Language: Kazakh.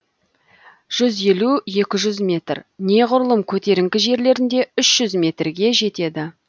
жүз елу екі жүз метр неғұрлым көтеріңкі жерлерінде үш жүз метрге жетеді